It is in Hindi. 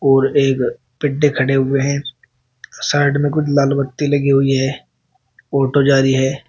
और एक पेड्डे खड़े हुए हैं साइड में कुछ लाल बत्ती लगी हुई है ऑटो जा रही है।